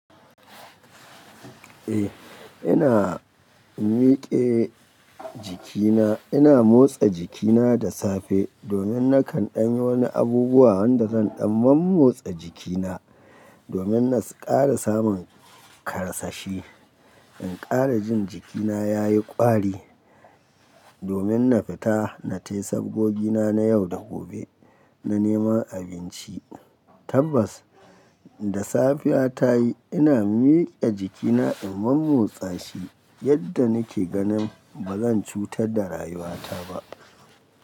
Eh ina mike jikina, ina motsa jikina da safe domin na kan ɗan yi wani abubuwa wanda zan ɗan mammotsa jikina domin na na ƙara samun karsashi. In ƙara jin jikina ya yi ƙwari domin na fita na tai sabgogina na yau da gobe, na neman abinci. Tabbas da safiya ta yi ina mike jikina in mammotsa shi yadda nike ganin ba zan cutar da rayuwata ba.